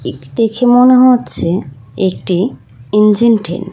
এটি দেখে মনে হচ্ছে একটি ইঞ্জিন ট্রেন ।